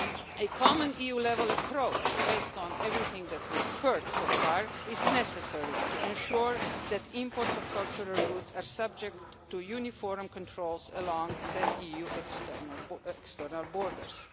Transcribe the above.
A common EU level approach based on everything that we have heard so far is necessary to ensure that imports of cultural goods are subject to uniform controls along the EU's external borders.